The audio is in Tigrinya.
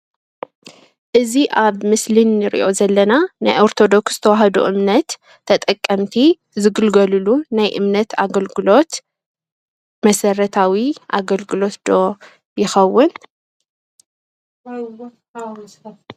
እዚ ኣብ ምስሊ ንሪኦ ዘለና ናይ ኦርቶዶክስ ተዋህዶ እምነት ተጠቀምቲ ዝግልገልሉ ናይ እምነት ኣገልግሎት መሰረታዊ ኣገልግሎት ዶ ይኸውን?